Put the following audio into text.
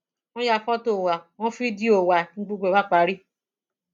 wọn ya fọtò wa wọn fídíò wa ni gbogbo ẹ bá parí